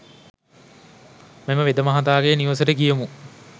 මෙම වෙදමහතාගේ නිවසට ගියෙමු.